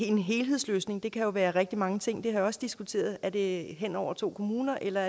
en helhedsløsning kan jo være rigtig mange ting og vi også diskuteret altså om det er hen over to kommuner eller